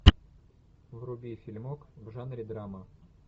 вруби фильмок в жанре драма